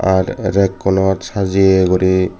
at reg unot sajeye guri.